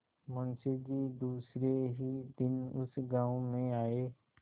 मुँशी जी दूसरे ही दिन उस गॉँव में आये